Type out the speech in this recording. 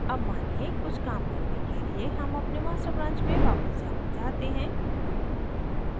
अब मानिए कुछ काम करने के लिए हम अपने master branch में वापस जाना चाहते हैं